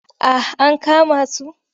Ah ankama su.